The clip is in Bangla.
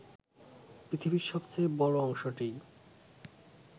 পৃথিবীর সবচেয়ে বড় অংশটিই